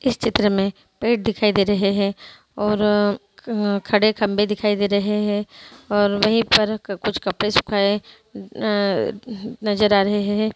इस चित्र में पेड़ दिखाई दे रहे है और खड़े खम्भे दिखाई दे रहे है और वहीँ पर कुछ कपड़े सुखाये न-नजर आ रहे है।